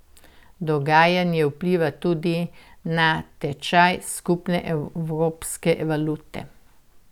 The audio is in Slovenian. Dogajanje vpliva tudi na tečaj skupne evropske valute.